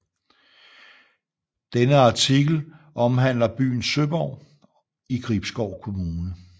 Denne artikel omhandler byen Søborg i Gribskov Kommune